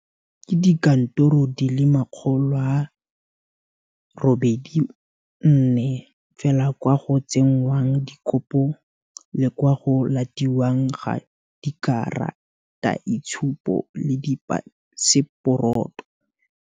Ke dikantoro di le 184 fela kwa go tsengwang dikopo le kwa go latiwang ga dikarataitshupo le dipaseporoto.